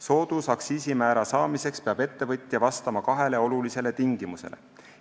Soodusaktsiisimäära saamiseks peab ettevõtja vastama kahele olulisele tingimusele.